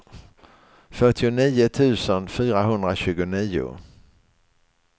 fyrtionio tusen fyrahundratjugonio